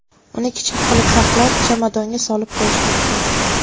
Uni kichik qilib taxlab, chamadonga solib qo‘yish mumkin.